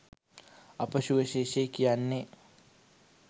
අප සුවිශේෂයි කියන්නේ